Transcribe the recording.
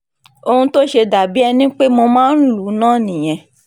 ohun tó ṣe dà bíi ẹni pé mo máa ń lù ú náà nìyẹn